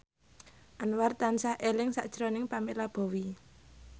Anwar tansah eling sakjroning Pamela Bowie